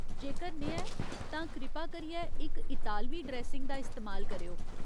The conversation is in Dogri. जेकर नेहा ऐ, तां कृपा करियै इक इतालवी ड्रेसिंग दा इस्तेमाल करेओ।